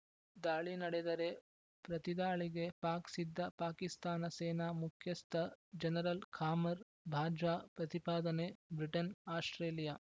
ದಾಳಿ ನಡೆದರೆ ಪ್ರತಿದಾಳಿಗೆ ಪಾಕ್‌ ಸಿದ್ಧ ಪಾಕಿಸ್ತಾನ ಸೇನಾ ಮುಖ್ಯಸ್ಥ ಜನರಲ್‌ ಖಾಮರ್‌ ಬಾಜ್ವಾ ಪ್ರತಿಪಾದನೆ ಬ್ರಿಟನ್‌ ಆಸ್ಪ್ರೇಲಿಯಾ